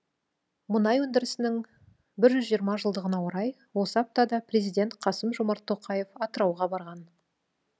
мұнай өндірісінің бір жүз жиырма жылдығына орай осы аптада президент қасым жомарт тоқаев атырауға барған